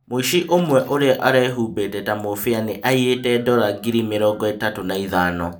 Mũici ũmwe ũrĩa ũrehumbĩte ta Mũbĩa nĩ aĩyĩte Dola ngiri mĩrongo itatũ na ĩthano